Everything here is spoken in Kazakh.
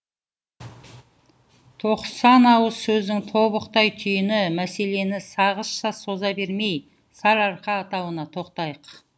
тоқсан ауыз сөздің тобықтай түйіні мәселені сағызша соза бермей сарыарқа атауына тоқтайық